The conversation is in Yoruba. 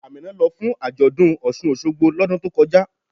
Ámínà ló fún ajọ́dún Ọṣun-Ọṣogbo lódùn tó kọjá.